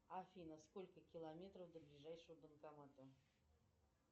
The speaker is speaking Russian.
афина сколько километров до ближайшего банкомата